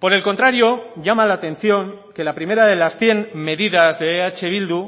por el contrario llama la atención que la primera de las cien medidas de eh bildu